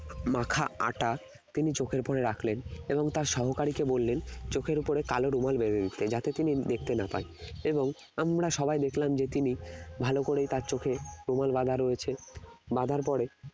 মাখা আটা তিনি চোখের ওপরে রাখলেন এবং তার সহকারীকে বললেন চোখের ওপরে কালো রুমাল বেঁধে দিতে যাতে তিনি দেখতে না পায় এবং আমরা সবাই দেখলাম যে তিনি ভালো করে তার চোখে রুমাল বাঁধা রয়েছে বাঁধার পরে